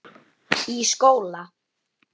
Í skóla?